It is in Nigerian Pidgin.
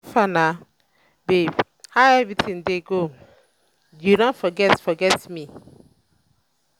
how far um na babe? how everything dey go? you don um forget um forget um me